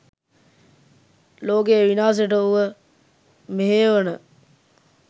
ලෝකේ විනාසෙට උව මෙහෙයවන